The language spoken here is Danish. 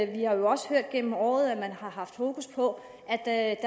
vi har jo også gennem året hørt at man har haft fokus på at